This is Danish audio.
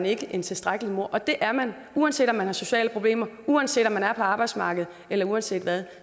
ikke er en tilstrækkelig mor og det er man uanset om man har sociale problemer uanset om man er på arbejdsmarkedet eller uanset hvad